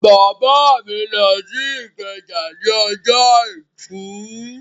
Bàbá mi lọ sí Ìkẹjà ní ọjọ́ àìkú